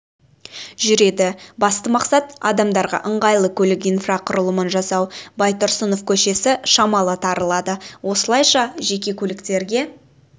жүреді басты мақсат адамдарға ыңғайлы көлік инфрақұрылымын жасау байтұрсынов көшесі шамалы тарылады осылайша жеке көліктерге